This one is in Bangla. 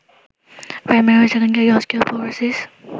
প্রাইমারি ও সেকেন্ডারি অস্টিওপোরোসিস